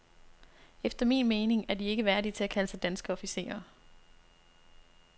Efter min mening er de ikke værdige til at kalde sig danske officerer.